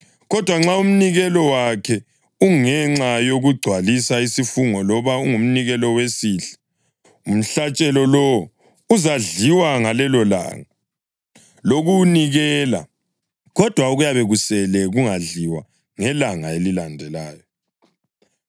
Kodwa nxa umnikelo wakhe ungenxa yokugcwalisa isifungo loba ungumnikelo wesihle, umhlatshelo lowo uzadliwa ngalelolanga lokuwunikela, kodwa okuyabe kusele kungadliwa ngelanga elilandelayo.